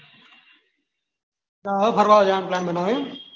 એલે હવે ફરવા જવાનું plan બનાવું એવું